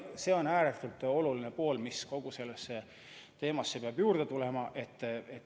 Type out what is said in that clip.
See on ääretult oluline tahk, mis kogu sellesse teemasse peab juurde tulema.